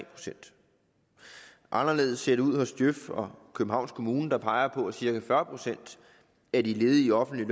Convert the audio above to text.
procent anderledes ser det ud hos djøf og københavns kommune der peger på at cirka fyrre procent af de ledige i offentlige